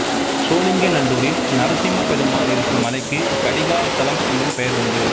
சோளிங்கநல்லூரில் நரசிம்மப் பெருமாள் இருக்கும் மலைக்குக் கடிகாசலம் என்னும் பெயர் உண்டு